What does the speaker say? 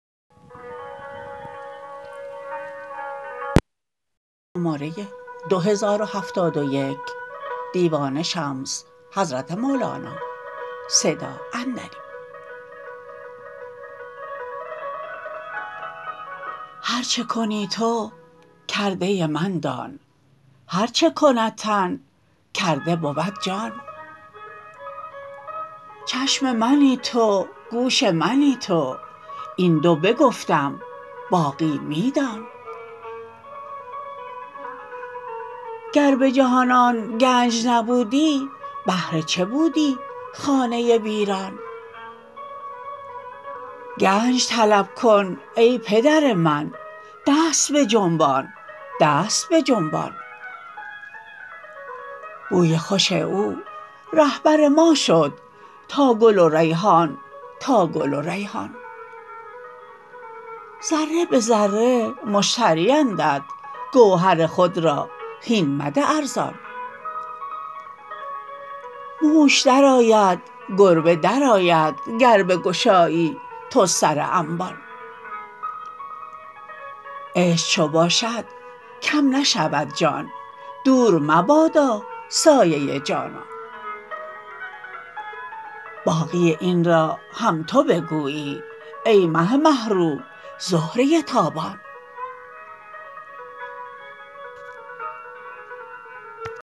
هر چه کنی تو کرده من دان هر چه کند تن کرده بود جان چشم منی تو گوش منی تو این دو بگفتم باقی می دان گر به جهان آن گنج نبودی بهر چه بودی خانه ویران گنج طلب کن ای پدر من دست بجنبان دست بجنبان بوی خوش او رهبر ما شد تا گل و ریحان تا گل و ریحان ذره به ذره مشتریندت گوهر خود را هین مده ارزان موش درآید گربه درآید گر بگشایی تو سر انبان عشق چو باشد کم نشود جان دور مبادا سایه جانان باقی این را هم تو بگویی ای مه مه رو زهره تابان